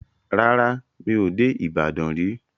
Rárá, mi ò dé Ìbàdàn rí.